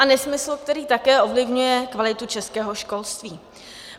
A nesmysl, který také ovlivňuje kvalitu českého školství.